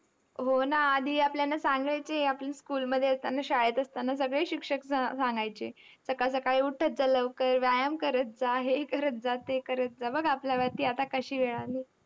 हो ना. आधी आपल्याला सांगायचे, आपण school मध्ये असताना, शाळेत असताना सगळे शिक्षक सा सांगायचे. सकाळ सकाळी उठत जा लवकर, व्यायाम करत जा, हे करत जा, ते करत जा. बघ आपल्यावरती आता कशी वेळ आलीय.